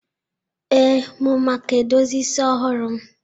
ee, m maka edozi isi ọhụrụ m?